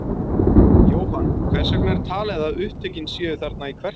Jóhann, hvers vegna er talið að upptökin séu þarna í Kverkfjöllum?